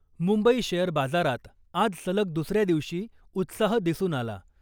Mumbai share बाजारात आज सलग दुसऱ्या दिवशी उत्साह दिसून आला .